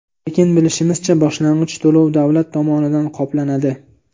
Lekin bilishimizcha, boshlang‘ich to‘lov davlat tomonidan qoplanadi.